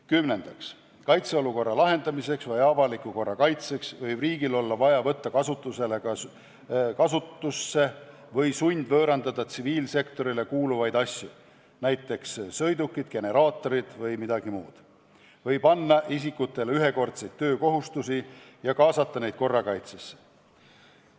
Kümnendaks, kaitseolukorra lahendamiseks või avaliku korra kaitseks võib riigil olla vaja võtta kasutusse või sundvõõrandada tsiviilsektorile kuuluvaid asju, näiteks sõidukid, generaatorid vms, või panna isikutele ühekordseid töökohustusi ja kaasata neid korrakaitsesse.